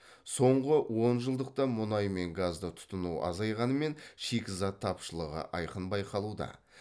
соңғы онжылдықта мұнай мен газды тұтыну азайғанымен шикізат тапшылығы айқын байқалуда